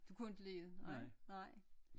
Du kunne ikke lide det nej nej